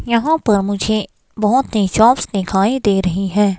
यहां पर मुझे बहुत ही शॉप्स दिखाई दे रही हैं।